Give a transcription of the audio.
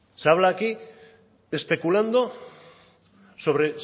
se habla aquí especulando sobre